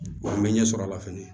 An bɛ ɲɛ sɔrɔ a la fɛnɛ